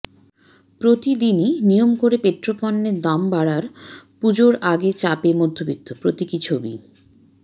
প্রতিদিনই নিয়ম করে পেট্রোপণ্যের দাম বাড়ার পুজোর আগে চাপে মধ্যবিত্ত প্রতীকী ছবি